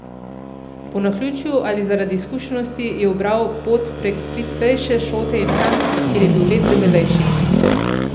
Po naključju ali zaradi izkušenosti je ubral pot prek plitvejše šote in tam, kjer je bil led debelejši.